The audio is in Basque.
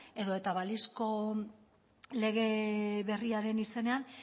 edo eta balizko lege berriaren izenean